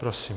Prosím.